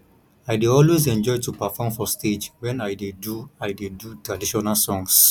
i dey always enjoy to perform for stage wen i dey do i dey do traditional songs